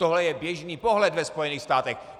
Tohle je běžný pohled ve Spojených státech.